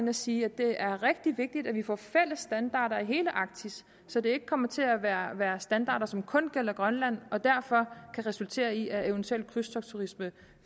at sige at det er rigtig vigtigt at vi får fælles standarder i hele arktis så det ikke kommer til at være være standarder som kun gælder grønland og derfor kan resultere i at eventuelle krydstogtturister